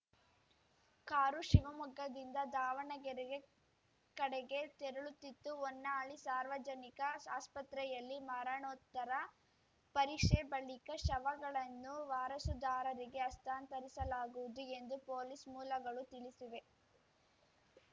car ಶಿವಮೊಗ್ಗದಿಂದ ದಾವಣಗೆರೆಗೆ ಕಡೆಗೆ ತೆರಳುತ್ತಿತ್ತು ಹೊನ್ನಾಳಿ ಸಾರ್ವಜನಿಕ ಸಾ ಆಸ್ಪತ್ರೆಯಲ್ಲಿ ಮರಣೋತ್ತರ ಪರೀಕ್ಷೆ ಬಳಿಕ ಶವಗಳನ್ನು ವಾರಸುದಾರರಿಗೆ ಹಸ್ತಾಂತರಿಸಲಾಗುವುದು ಎಂದು ಪೊಲೀಸ್‌ ಮೂಲಗಳು ತಿಳಿಸಿವೆ